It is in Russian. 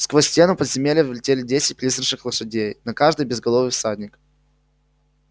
сквозь стену в подземелье влетели десять призрачных лошадей на каждой безголовый всадник